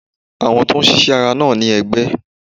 Àwọn tó n ṣíṣe ti ára, naa ni ẹgbẹ